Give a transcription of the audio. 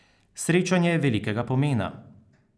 Srečanje je velikega pomena.